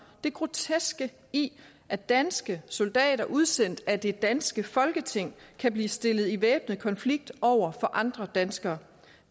det groteske i at danske soldater udsendt af det danske folketing kan blive stillet i væbnet konflikt over for andre danskere